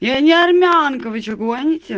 я не армянка вы чё гоните